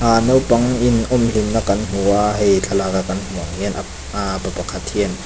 aaa naupang in awm hlim na kan hmu a hei thlalak a kan hmuh ang hian ah pa pakhat hian--